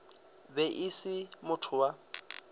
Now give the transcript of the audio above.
be e se motho wa